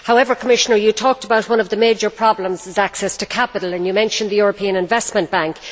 However, Commissioner, you talked about one of the major problems as being access to capital, and you mentioned the European Investment Bank.